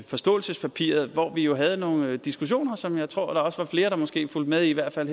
forståelsespapiret hvor vi jo havde nogle diskussioner som jeg tror der også var flere der måske fulgte med i hvert fald